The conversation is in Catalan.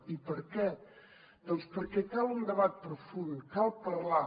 i per què doncs perquè cal un debat profund cal parlar